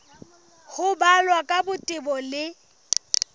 ho balwa ka botebo le